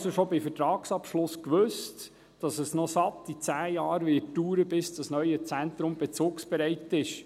Man wusste also schon bei Vertragsabschluss, dass es noch satte zehn Jahre dauern würde, bis das neue Zentrum bezugsbereit ist.